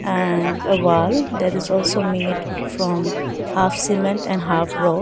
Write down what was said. and a wall that is also made from half cement and half rod.